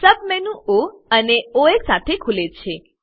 સબમેનું ઓ અને ઓએસ સાથે ખુલે છે